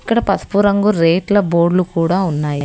ఇక్కడ పసుపు రంగు రేట్ల బోర్డులు కూడా ఉన్నాయి.